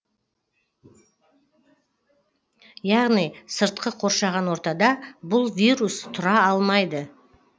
яғни сыртқы қоршаған ортада бұл вирус тұра алмайды